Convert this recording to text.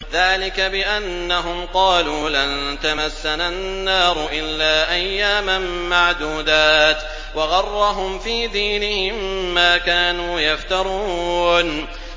ذَٰلِكَ بِأَنَّهُمْ قَالُوا لَن تَمَسَّنَا النَّارُ إِلَّا أَيَّامًا مَّعْدُودَاتٍ ۖ وَغَرَّهُمْ فِي دِينِهِم مَّا كَانُوا يَفْتَرُونَ